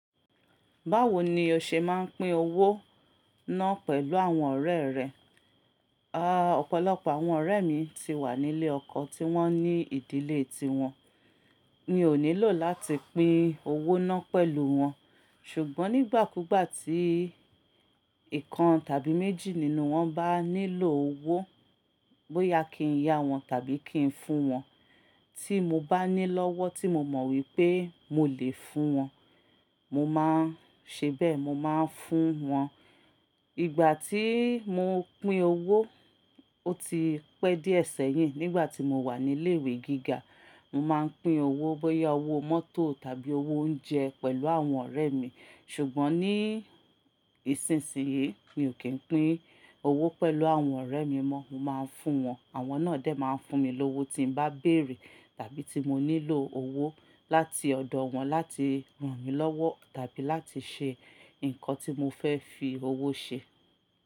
Báwo ni o ṣe máa ń pín owó náà pẹ̀lú àwọn ọ̀rẹ́ rẹ? A, ọ̀pọ̀lọpọ̀ àwọn ọ̀rẹ́ mi ti wà nílé ọkọ, tí wọ́n ní ìdílé ti wọn. Mi ò nílò láti pín owó náà pẹ̀lú wọn. Ṣùgbọ́n nígbàkúgbà tí ìkan tàbí méjì nínú wọn bá nílò owó, bóyá kí n ya wọn tàbí kí n fún wọn, tí mo bá ní lọ́wọ́ tí mo mọ̀ wípé mo lè fún wọn, mo máa ń ṣe bẹ́ẹ̀, mo máa ń fún wọn. Ìgbà tí mo pín owó, ó ti pẹ́ díẹ̀ sẹ́yìn. Nígbà tí mo wà ní ilé ìwé gíga, mo máa ń pín owó, bóyá owó mọ́tò tàbí owó oúnjẹ pẹ̀lú àwọn ọ̀rẹ́ mi. Ṣùgbọ́n ní ìsinsìnyí, mi ò kí ń pín owó pẹ̀lú àwọn ọ̀rẹ́ mi mọ́. Mo máa ń fún wọn, àwọn náà dẹ̀ máa ń fún mi lówó tí mo bá béèrè tàbí tí mo nílò owó láti ọ̀dọ̀ wọn láti ràn mí lọ́wọ́ tàbí láti ṣe nǹkan tí mo fẹ́ fi owó ṣe.